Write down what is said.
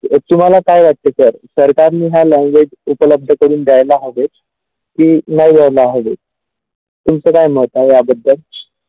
तुम्हाला काय वाटते जर सरकारने हा language उपलब्ध करून द्यायला हवे की नाही द्यायला हवे तुमच्या काय मत आहे याबद्दल.